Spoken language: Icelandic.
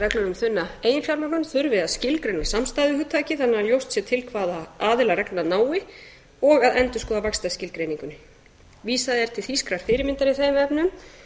um þunna eiginfjármögnun þurfi að skilgreina samstæðuhugtakið þannig að ljóst sé til hvaða aðila reglurnar nái og að endurskoða vaxtarskilgreininguna vísað er til þýskrar fyrirmyndar í þeim efnum